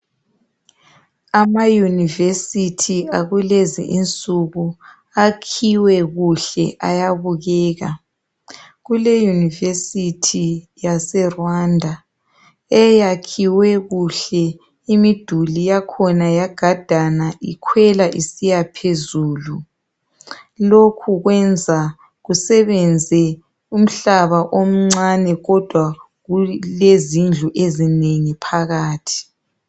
Amayunivesithi akulezi insuku akhiwe kuhle, ayabukeka. Kuluyunivesithi yase Rwanda eyakhiwe kuhle imiduli yakhona yagadana ikhwela isiya phezulu. Lokhu kwenza kusebenze umhlaba omncane kudwa kulezindlu ezinengi phakathi.